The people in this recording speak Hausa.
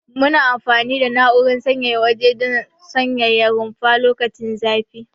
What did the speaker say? Muna amfani da na'urar sanyaya waje don sanyaya rumfa lokacin zafi.